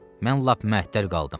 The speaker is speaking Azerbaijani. Mən lap məhətəl qaldım.